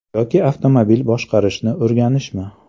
Yoki avtomobil boshqarishni o‘rganishmi?